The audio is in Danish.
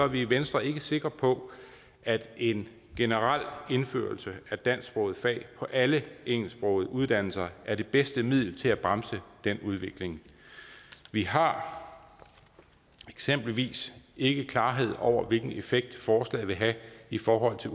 vi i venstre ikke sikre på at en generel indførelse af dansksprogede fag på alle engelsksprogede uddannelser er det bedste middel til at bremse den udvikling vi har eksempelvis ikke klarhed over hvilken effekt forslaget vil have i forhold til